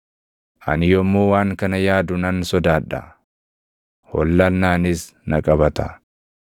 Ani yommuu waan kana yaadu nan sodaadha; hollannaanis na qabata.